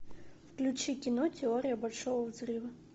включи кино теория большого взрыва